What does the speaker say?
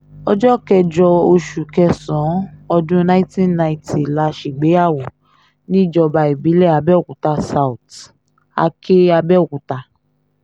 ọjọ́ kẹjọ oṣù kẹsàn-án ọdún nineteen ninety la ṣègbéyàwó níjọba ìbílẹ̀ abẹ́ọ̀kútà south àkè abẹ́ọ̀kúta